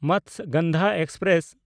Matsyagandha express